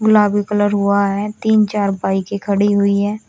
गुलाबी कलर हुआ है तीन चार बाइके खड़ी हुई है।